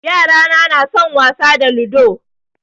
Yarana na son wasa da ludo